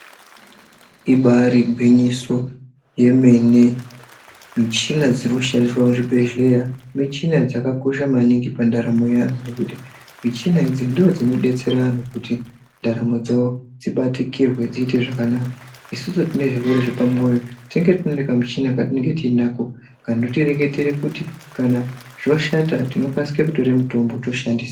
Ibari gwinyiso yemene, michina dziri kushandiswa muzvibhedhleya michina dzakakosha maningi pandaramo yeanhu ngekuti michina idzi ndodzinobetsera anhu kuti ndaramo dzawo dzibatikirwe dziite zvakanaka, isusu tine zvirwere zvepamwoyo tinenge tine kamuchina katinenge tiinako, kanotireketera kuti kana zvoshata tinokasike kutore mitombo, toshandisa.